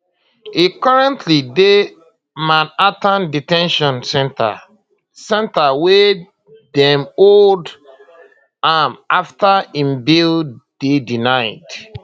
e currently dey manhattan de ten tion centre centre wia dem hold am afta im bail dey denied